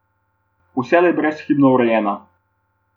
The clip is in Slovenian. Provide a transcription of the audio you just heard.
Vselej brezhibno urejena.